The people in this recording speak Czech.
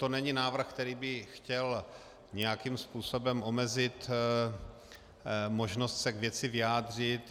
To není návrh, který by chtěl nějakým způsobem omezit možnost se k věci vyjádřit.